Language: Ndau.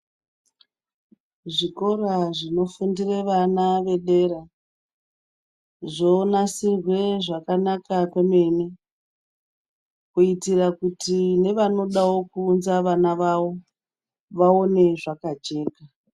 Zvikora zvinofundire vana vedera zvonasirwa zvakanaka kwemene, kuitira kuti nevanoda kuunzawo vana vavo vaone zvakajeka.